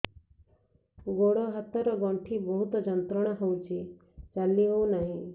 ଗୋଡ଼ ହାତ ର ଗଣ୍ଠି ବହୁତ ଯନ୍ତ୍ରଣା ହଉଛି ଚାଲି ହଉନାହିଁ